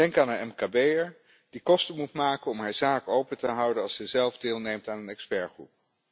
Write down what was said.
Denk aan een mkb'er die kosten moet maken om haar zaak open te houden als ze zelf deelneemt aan een expertgroep.